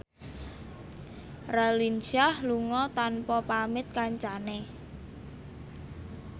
Raline Shah lunga tanpa pamit kancane